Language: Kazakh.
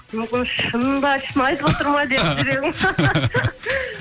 мүмкін шын ба шын айтып отыр ма деп жүрегім